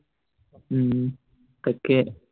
উম তাকে